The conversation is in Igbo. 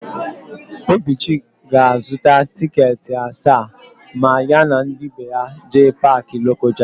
Obichi ga-azụta tịketị asaa ma ya na ndị be ya jee Paakị Lokoja.